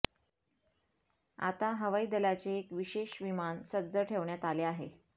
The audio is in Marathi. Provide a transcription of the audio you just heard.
आता हवाई दलाचे एक विशेष विमान सज्ज ठेवण्यात आले आहे